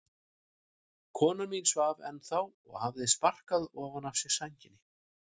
Kona mín svaf ennþá og hafði sparkað ofan af sér sænginni.